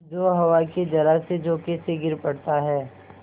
जो हवा के जरासे झोंके से गिर पड़ता है